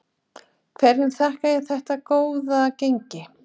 Hverju þakkar þú þetta góða gengi?